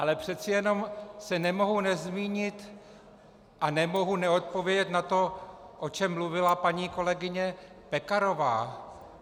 Ale přece jenom se nemohu nezmínit a nemohu neodpovědět na to, o čem mluvila paní kolegyně Pekarová.